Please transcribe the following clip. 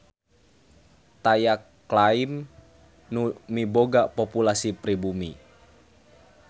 Taya klaim nu miboga populasi pribumi.